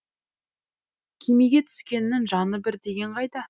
кемеге түскеннің жаны бір деген қайда